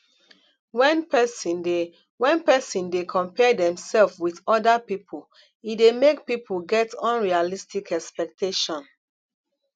when person dey when person dey compare themself with oda pipo e dey make pipo get unrealistic expectation